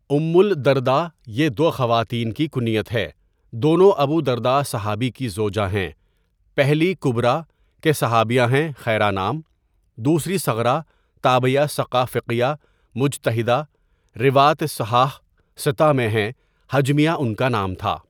ام الدرداء یہ دو خواتین کی کنیت ہے دونوں ابودرداء صحابی کی زوجہ ہیں، پہلی کبرٰی کہ صحابیہ ہیں خیرہ نام، دوسری صغرٰی تابعیہ ثقہ فقیہ مجتہدہ رواۃ صحاح ستہ میں ہیں ہجمیہ ان کا نام تھا.